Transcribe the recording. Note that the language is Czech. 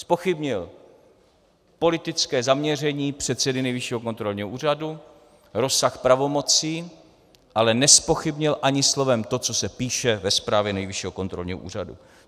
Zpochybnil politické zaměření předsedy Nejvyššího kontrolního úřadu, rozsah pravomocí, ale nezpochybnil ani slovem to, co se píše ve zprávě Nejvyššího kontrolního úřadu.